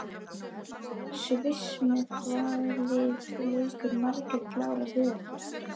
Sviss Með hvaða liði leikur Margrét Lára Viðarsdóttir?